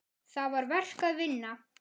Það var verk að vinna.